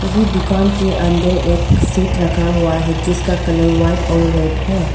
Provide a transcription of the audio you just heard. ये दुकान के अंदर एक सीट रखा हुआ है जिसका कलर व्हाइट और रेड है।